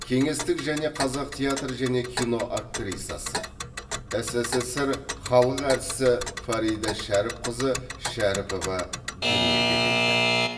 кеңестік және қазақ театр және кино актрисасы ссср халық әртісі фарида шәріпқызы шәріпова дүниеге келді